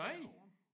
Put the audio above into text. Derovre